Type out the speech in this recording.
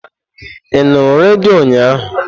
Ị nụrụ redio ụnyaahụ?